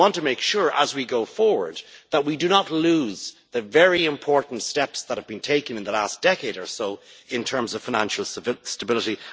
We want to make sure that as we go forward we do not lose the very important steps that have been taken in the last decade or so in terms of financial stability.